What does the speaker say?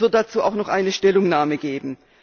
Es wird dazu auch noch eine Stellungnahme geben.